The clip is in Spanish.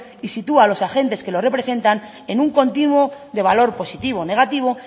y sitúa a los agentes que los representan en un continuo de valor positivo o negativo